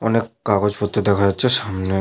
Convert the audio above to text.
অনেক কাগজপত্র দেখা যাচ্ছে সামনে।